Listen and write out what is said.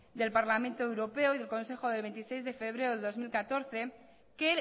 del parlamento europeo y del consejo del veintiséis de febrero del dos mil catorce que